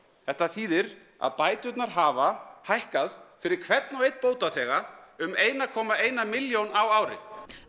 þetta þýðir að bæturnar hafa hækkað fyrir hvern og einn bótaþega um eina komma eina milljón á ári